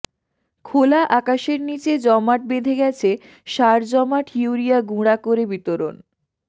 খোলা আকাশের নিচে জমাট বেঁধে গেছে সার জমাট ইউরিয়া গুঁড়া করে বিতরণ